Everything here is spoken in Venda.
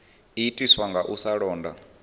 itiswa nga u sa londa